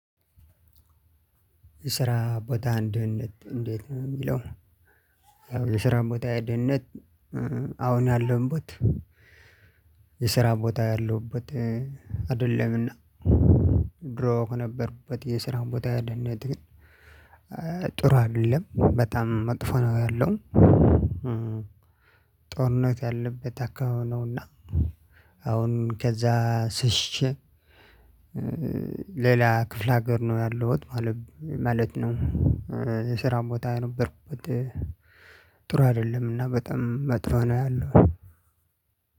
የስራ ቦታ ደህንነት እንዴት ነው የሚለው? የስራ ቦታ ደህንነት አሁን ያለውበት። የስራ ቦታ ያለውበት አይደለምና። ድሮ ከነበርኩበት የስራ ቦታ ግን ደህንነት። ጥሩ አይደለም በጣም መጥፎ ነው ያለው። ጦርነት ያለበት አካባቢ ነውና። አሁን ከዛ ሸሽቸ። ሌላ ክፍለ ሀገር ነው ያለውት ማለት ነው። የስራ ቦታ የነበርኩበት። ጥሩ አይደለም እና በጣም መጥፎ ነው ያለው።